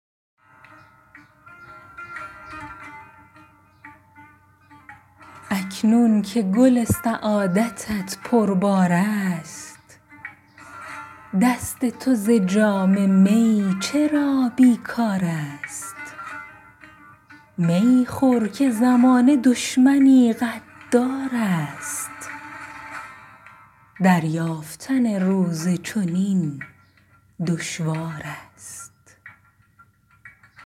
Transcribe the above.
اکنون که گل سعادتت پربار است دست تو ز جام می چرا بیکار است می خور که زمانه دشمنی غدار است دریافتن روز چنین دشوار است